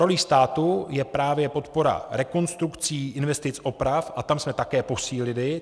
Rolí státu je právě podpora rekonstrukcí, investic oprav - a tam jsme také posílili.